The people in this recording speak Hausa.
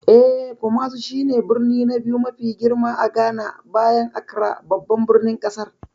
Eh, Kumasi shi ne birni na biyu mafi girma a Ghana, bayan Accra babban birnin kasar.